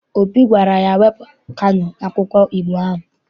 Obi gwara ya, wepụ Kano n'akwụkwọ Igbo ahụ!